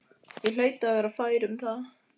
Ég hlaut að vera fær um það.